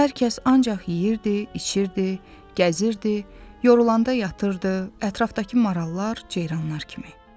Hər kəs ancaq yeyirdi, içirdi, gəzirdi, yorulanda yatırdı, ətrafdakı marallar ceyranlar kimi.